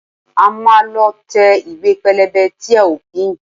A máa lọ tẹ ìwé pélébé tí a ó pín